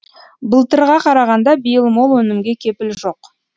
былтырға қарағанда биыл мол өнімге кепіл жоқ